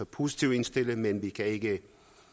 positiv indstilling men vi kan ikke